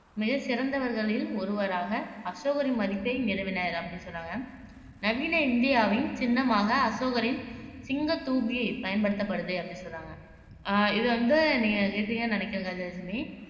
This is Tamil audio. மிகச் சிறந்தவர்களில் ஒருவராக அசோகரின் மதிப்பை நிறுவினர் அப்படின்னு சொல்றாங்க. நவீன இந்தியாவின் சின்னமாக அசோகரின் சிங்கத் தூபியை பயன்படுத்தப்படுது அப்படின்னு சொல்றாங்க